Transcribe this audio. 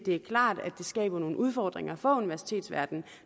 er klart at det skaber nogle udfordringer for universitetsverdenen